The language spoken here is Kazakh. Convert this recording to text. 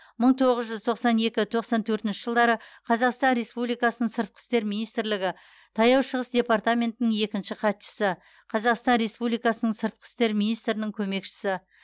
мың тоғыз жүз тоқсан екі тоқсан төртінші жылдары қазақстан республикасының сыртқы істер министрлігі таяу шығыс департаментінің екінші хатшысы қазақстан республикасының сыртқы істер министрінің көмекшісі